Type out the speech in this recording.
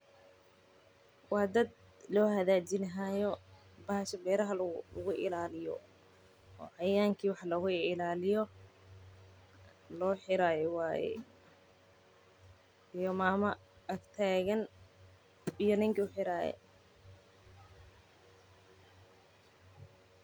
Wa dad lohagajinayo bahasha beraha lagu ilalinayo oo cayayanka iyo wax loga ilaliyo loxirayo waye, iyo mama agtagan iyo ninki uxiray.